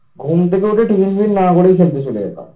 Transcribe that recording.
ঘুম থেকে উঠে tiffin ফিপিন না করেই খেলতে চলে যেতাম।